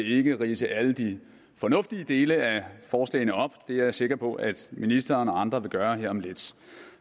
ikke ridse alle de fornuftige dele af forslagene op det er jeg sikker på at ministeren og andre vil gøre her om lidt